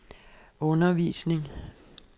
undervisning